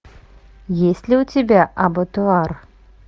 есть ли у тебя абатуар